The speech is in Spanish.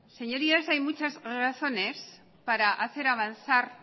señorías hay muchas razones para hacer avanzar